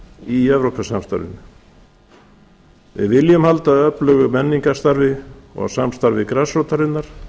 í evrópusamstarfinu við viljum halda öflugu menningarstarfi og samstarfi grasrótarinnar